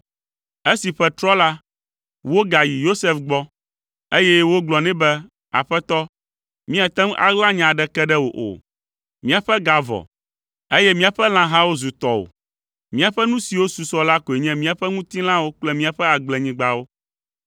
Esi ƒe trɔ la, wogayi Yosef gbɔ, eye wogblɔ nɛ be, “Aƒetɔ, míate ŋu aɣla nya aɖeke ɖe wò o. Míaƒe ga vɔ, eye míaƒe lãhawo zu tɔwò; míaƒe nu siwo susɔ la koe nye míaƒe ŋutilãwo kple míaƒe agblenyigbawo.